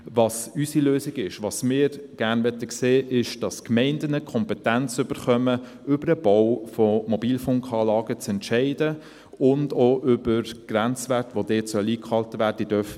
Was unsere Lösung ist und was wir gerne sehen würden, ist, dass die Gemeinden die Kompetenz erhalten, über den Bau von Mobilfunkanlagen zu entscheiden und auch über die Grenzwerte, die dabei eingehalten werden sollen.